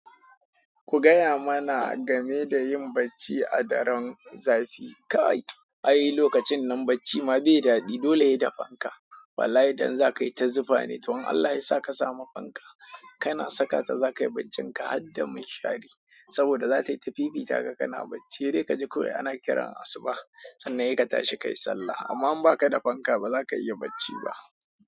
Ku gaya mana game da yin bacci a daren zafi. Kai, ai lokacin nan bacci ma bai daɗi, dole sai da fanka. Wallahi don zakayi ta zufane, to in Allah yasa ka samu fanka kana sakata zakayi baccinka harda minshari saboda zatayita fifitaka kana bacci sai dai kaji kawai ana kiran asuba sannan sai ka tashi kayi sallah. Amma in ba ka da fanka ba za ka iya bacci ba.